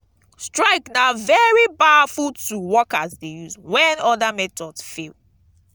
strike na very powerful tool workers de use when other methods fail